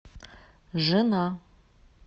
жена